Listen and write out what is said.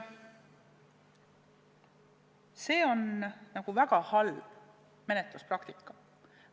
See on väga halb menetluspraktika.